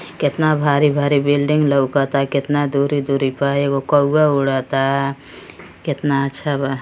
केतना भारी भारी बिल्डिंग लौकता केतना दूरी दूरी प। एगो कौआ उड़ता। केतना अच्छा बा।